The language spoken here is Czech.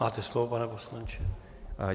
Máte slovo, pane poslanče.